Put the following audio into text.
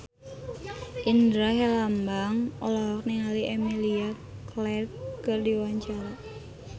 Indra Herlambang olohok ningali Emilia Clarke keur diwawancara